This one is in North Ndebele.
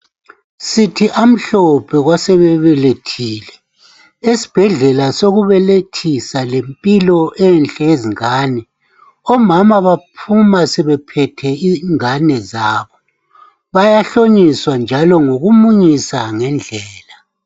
Sithi amhlophe kwesebe belethile esibhedlela sokubelethisa lempilo enhle eyezingane. Omama baphuma sebephethe ingane zabo bayahloniswa njalo ngokumunyisa ngendlela.